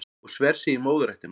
Og sver sig í móðurættina